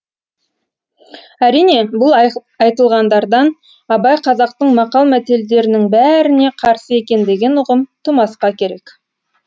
әрине бұл айтылғандардан абай қазақтың мақал мәтелдерінің бәріне қарсы екен деген ұғым тумасқа керек